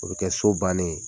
O be kɛ so bannen ye.